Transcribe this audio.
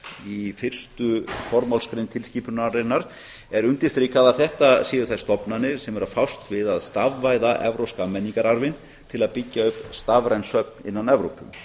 í fyrstu formálsgrein tilskipunarinnar er undirstrikað að þetta séu þær stofnanir sem eru að fást við að stafvæða evrópska menningararfinn til að byggja upp stafræn söfn innan evrópu sný